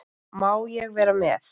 Má ég vera með?